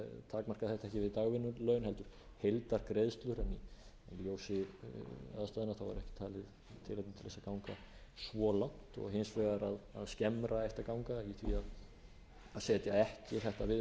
dagvinnulaun heldur heildargreiðslur í ljósi aðstæðna er ekki talið tilefni til að ganga svo langt og hins vegar að skemmra ætti að ganga í því að setja ekki þetta viðmið um að